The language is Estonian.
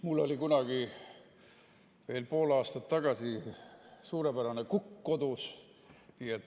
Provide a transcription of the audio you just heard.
Mul oli kunagi, veel pool aastat tagasi, kodus suurepärane kukk.